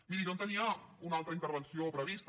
miri jo tenia una altra intervenció prevista